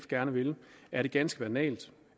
gerne vil er det ganske banalt